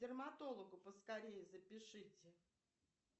к дерматологу поскорее запишите